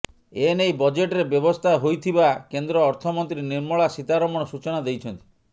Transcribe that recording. ଏ ନେଇ ବଜେଟରେ ବ୍ୟବସ୍ଥା ହୋଇଥିବା କେନ୍ଦ୍ର ଅର୍ଥମନ୍ତ୍ରୀ ନିର୍ମଳା ସୀତାରମଣ ସୂଚନା ଦେଇଛନ୍ତି